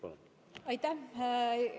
Palun!